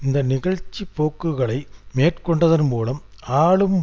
இந்த நிகழ்ச்சிபோக்குகளை மேற்கொண்டதன் மூலம் ஆளும்